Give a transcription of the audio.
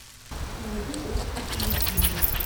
найди оскар и люсинда